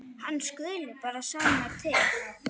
Hann skuli bara sanna til.